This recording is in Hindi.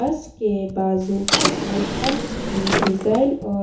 बस के बाजू पेट्रोल पंप की डिज़ाइन और--